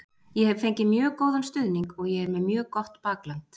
Ég hef fengið mjög góðan stuðning og ég er með mjög gott bakland.